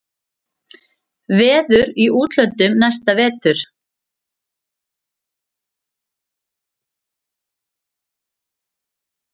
Verður í útlöndum næsta vetur.